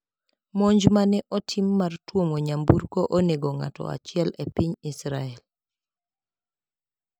Monj ma ne otim mar tuomo nyamburko onego ng`ato achiel e piny Israel.